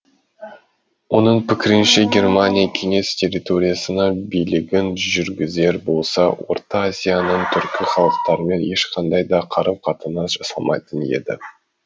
оның пікірінше германия кеңес территориясына билігін жүргізер болса орта азияның түркі халықтарымен ешқандай да қарым қатынас жасалмайтын еді